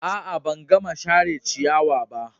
A'a, ban gama share ciyawa ba.